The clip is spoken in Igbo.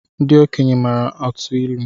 Ndị okenye maara atụ ilu